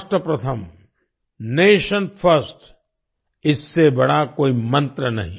राष्ट्र प्रथम nation first इससे बड़ा कोई मंत्र नहीं